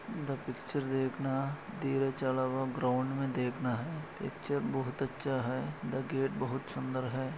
The picture देखना दिरे चला हुआ ग्राउंड मे देखना है पिक्चर बहुत अच्छा है द गेट बहुत सुंदर है।